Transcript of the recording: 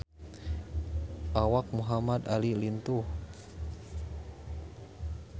Awak Muhamad Ali lintuh